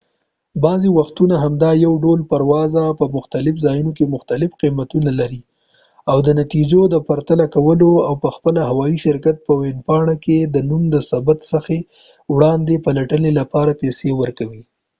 بعضې وختونه همدا یو ډول پرواز په مختلفو ځایونو کې مختلف قیمتونه لري او دا د نتیجو د پرتله کولو او په خپله د هوایي شرکت په ویبپاڼه کې د نوم د ثبت څخه وړاندې د پلټنې لپاره پیسې ورکوي